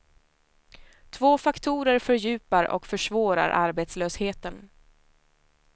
Två faktorer fördjupar och försvårar arbetslösheten.